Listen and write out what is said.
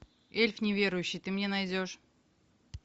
эльф неверующий ты мне найдешь